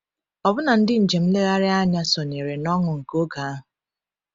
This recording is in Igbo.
Ọbụna ndị njem nlegharị anya sonyere n’ọṅụ nke oge ahụ.